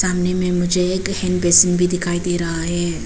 सामने में मुझे एक हैंड बेसिन भी दिखाई दे रहा है।